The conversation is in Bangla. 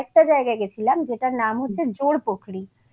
আমরা আর একটা জায়গায় গেছিলাম যেটার নাম হচ্ছে জোরপোখরি